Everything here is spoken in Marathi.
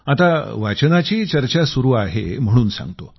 आता वाचनाची चर्चा सुरू आहे म्हणून सांगतो